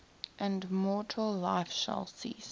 and mortal life shall cease